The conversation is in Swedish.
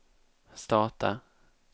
starta